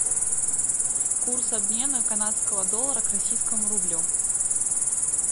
курс обмена канадского доллара к российскому рублю